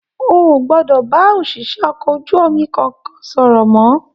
O o gbọdọ bá oṣiṣẹ okọ̀ ojú omi kankan sọ̀rọ̀ mọ!